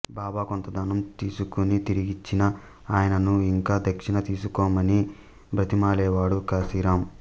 బాబా కొంత ధనం తీసుకుని తిరిగిచ్చినా ఆయనను ఇంకా దక్షిణ తీసుకోమని బ్రతిమాలేవాడు కాశీరాం